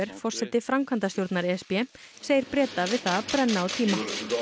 forseti framkvæmdastjórnar e s b segir Breta við það að brenna á tíma og